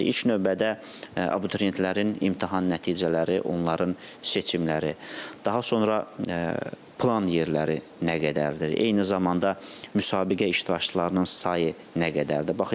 İlk növbədə abituriyentlərin imtahan nəticələri, onların seçimləri, daha sonra plan yerləri nə qədərdir, eyni zamanda müsabiqə iştirakçılarının sayı nə qədərdir?